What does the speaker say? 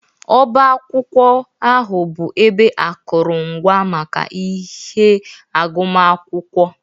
Ọbá akwụkwọ ahụ bụ ebe akụrụngwa maka ihe agụmakwụkwọ.